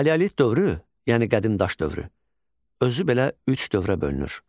Paleolit dövrü, yəni qədim daş dövrü özü belə üç dövrə bölünür.